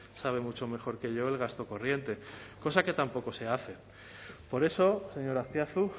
sabe mucho mejor que yo el gasto corriente cosa que tampoco se hace por eso señor azpiazu